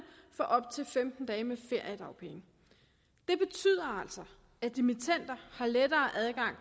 får op til femten dage med feriedagpenge det betyder altså at dimittender har lettere adgang